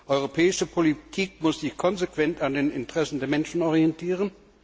Europäische Politik muss sich konsequent an den Interessen der Menschen orientieren.